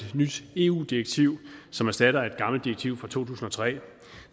nyt eu direktiv som erstatter et gammelt direktiv fra to tusind og tre